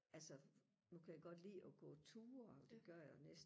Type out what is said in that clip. altså nu kan jeg godt lide og gå ture og det gør jeg næsten